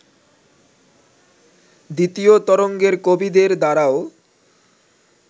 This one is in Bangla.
দ্বিতীয় তরঙ্গের কবিদের দ্বারাও